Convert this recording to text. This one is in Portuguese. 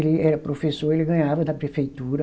Ele era professor, ele ganhava da prefeitura.